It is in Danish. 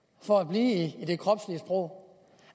for at blive i det kropslige sprog